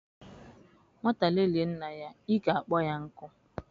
Nwata lelie nna ya, ike a kpọọ ya nkụ.